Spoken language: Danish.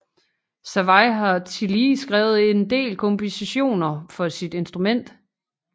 Servais har tillige skrevet en del kompositioner for sit instrument